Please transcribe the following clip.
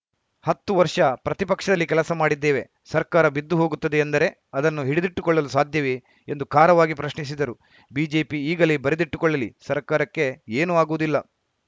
ಹತ್ತು ವರ್ಷ ಪ್ರತಿಪಕ್ಷದಲ್ಲಿ ಕೆಲಸ ಮಾಡಿದ್ದೇವೆ ಸರ್ಕಾರ ಬಿದ್ದು ಹೋಗುತ್ತದೆ ಎಂದರೆ ಅದನ್ನು ಹಿಡಿದಿಟ್ಟುಕೊಳ್ಳಲು ಸಾಧ್ಯವೇ ಎಂದು ಖಾರವಾಗಿ ಪ್ರಶ್ನಿಸಿದರು ಬಿಜೆಪಿ ಈಗಲೇ ಬರೆದಿಟ್ಟುಕೊಳ್ಳಲಿ ಸರ್ಕಾರಕ್ಕೆ ಏನೂ ಆಗುವುದಿಲ್ಲ